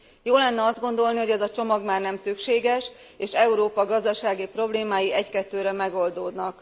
Jó lenne azt gondolni, hogy ez a csomag már nem szükséges és Európa gazdasági problémái egykettőre megoldódnak.